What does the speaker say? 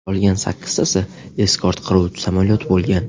Qolgan sakkiztasi eskort qiruvchi samolyot bo‘lgan.